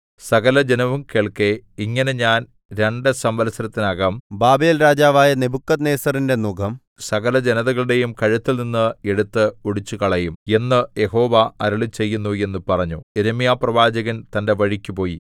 സകലജനവും കേൾക്കെ ഇങ്ങനെ ഞാൻ രണ്ടു സംവത്സരത്തിനകം ബാബേൽരാജാവായ നെബൂഖദ്നേസരിന്റെ നുകം സകലജനതകളുടെയും കഴുത്തിൽനിന്ന് എടുത്ത് ഒടിച്ചുകളയും എന്ന് യഹോവ അരുളിച്ചെയ്യുന്നു എന്നു പറഞ്ഞു യിരെമ്യാപ്രവാചകൻ തന്റെ വഴിക്കുപോയി